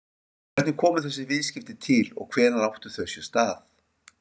Hvernig komu þessi viðskipti til og hvenær áttu þau sér stað?